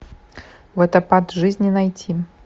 водопад жизни найти